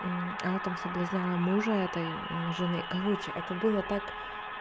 она там соблазняла мужа этой жены короче это было так